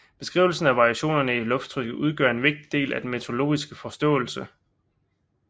Beskrivelsen af variationerne i lufttrykket udgør en vigtig del af den meteorologiske forståelse